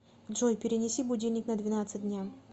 джой перенеси будильник на двенадцать дня